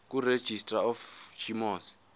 kuregistrar of gmos